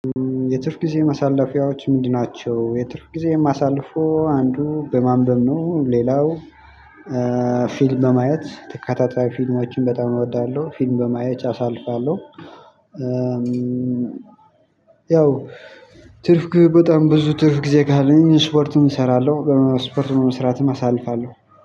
የትርፍ ጊዜ ማሳለፊያዎች ምንድን ናቸው? የትርፍ ጊዜ የማሳልፈው አንዱ በማንበብ ነው። ሌላው ፊልም በማየት ተከታታይ ፊልሞችን በጣም እወዳለሁ ፊልም በማየት አሳልፋለሁ። ያው ትርፍ ጊዜ በጣም ብዙ ትርፍ ጊዜ ካለኝ ስፖርትም እሰራለሁ። ስፖርት በመስራትም አሳልፋለሁ።